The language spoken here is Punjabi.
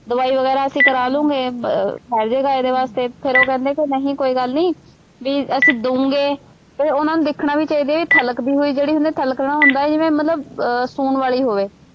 ਦਵਾਈ ਵਗੈਰਾ ਅਸੀਂ ਕਰਾ ਲੂੰ ਮੈਂ ਅਹ ਠਹਿਰ ਜਾਏਗਾ ਇਹਦੇ ਵਾਸਤੇ ਫੇਰ ਉਹ ਕਹਿੰਦੇ ਕਿ ਨਹੀਂ ਕੋਈ ਗੱਲ ਨਹੀਂ, ਬਈ ਅਸੀਂ ਦੂੰਗੇ, ਅਤੇ ਉਹਨਾ ਨੂੰ ਦੇਖਣਾ ਵੀ ਚਾਹੀਦਾ ਇਹ ਥਲਕਦੀ ਹੋਈ ਜਿਹੜੀ ਹੁੰਦੀ ਹੈ, ਥਲਕਣਾ ਹੁੰਦਾ ਜਿਵੇਂ ਮਤਲਬ ਅਹ ਸੂਣ ਵਾਲੀ ਹੋਵੇ।